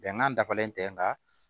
Bɛnkan dafalen tɛ nga